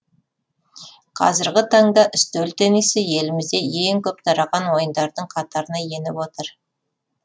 қазіргі таңда үстел теннисі елімізде ең көп тараған ойындардың қатарына еніп отыр